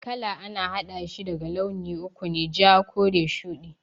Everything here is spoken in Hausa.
Kala a na haɗashi daga launi uku ne, ja, kore, shudi